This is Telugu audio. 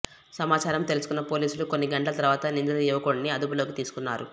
సమాచారం తెలుసుకున్న పోలీసులు కొన్ని గంటల తర్వాత నిందిత యువకుడిని అదుపులోకి తీసుకున్నారు